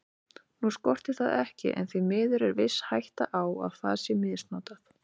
Nú skortir það ekki en því miður er viss hætta á að það sé misnotað.